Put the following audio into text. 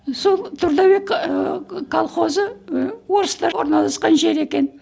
сол трудовик ы колхозы ы орыстар орналасқан жер екен